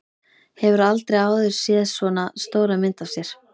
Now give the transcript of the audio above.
Hefur aldrei áður séð svona stóra mynd af sér.